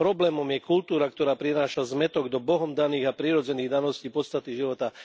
Problémom je kultúra, ktorá prináša zmätok do Bohom daných a prirodzených daností podstaty života.